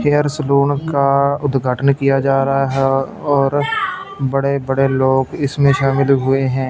Hair salon का उद्घाटन किया जा रहा है और बड़े बड़े लोग इसमें शामिल हुए हैं।